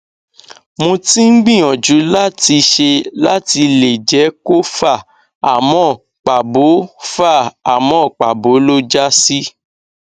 mo ti ń gbìyàjú láti ṣe láti lè jẹ kó fà àmọ pàbó fà àmọ pàbó ló já sí